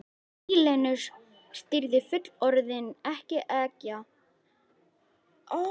Býlinu stýrði fullorðin ekkja sem bjó með þremur ókvæntum sonum.